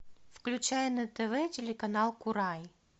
включай на тв телеканал курай